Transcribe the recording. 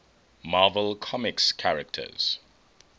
marvel comics characters